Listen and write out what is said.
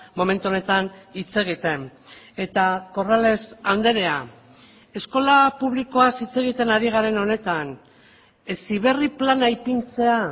momentu honetan hitz egiten eta corrales andrea eskola publikoaz hitz egiten ari garen honetan heziberri plana ipintzea